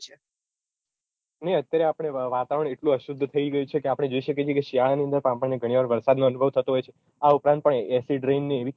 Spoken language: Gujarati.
નઈ અત્યારે આપણે વાતાવરણ એટલું અશુદ્ધ થઇ ગયું છે કે આપણે જોઈ શકીએ છીએ કે શિયાળાની અંદર પણ આપણને ઘણીવાર વરસાદ નો અનુભવ થતો હોય છે આ ઉપરાંત પણ